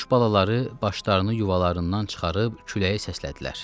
Quş balaları başlarını yuvalarından çıxarıb küləyə səslədilər.